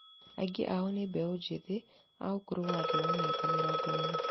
Aingĩ ao nĩ mbeũ njĩthĩ a ũkũrũ wa thĩ wa mĩaka mĩrongo ĩna